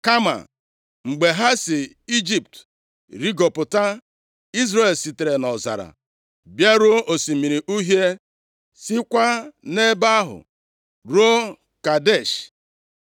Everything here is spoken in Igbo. Kama, mgbe ha si Ijipt rigopụta, Izrel sitere nʼọzara bịaruo Osimiri Uhie, sikwa nʼebe ahụ ruo Kadesh.